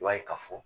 I b'a ye ka fɔ